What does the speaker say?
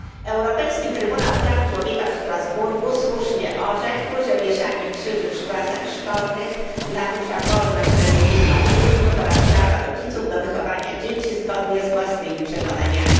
Europejski Trybunał Praw Człowieka w Strasburgu słusznie orzekł, że wieszanie krzyży w klasach szkolnych narusza wolność religijną uczniów oraz prawa rodziców do wychowania dzieci zgodnie z własnymi przekonaniami.